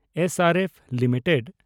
S R F limited